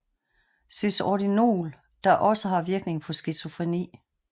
Cisordinol der også har virkning på skizofreni